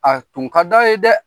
A tun ka da ye dɛ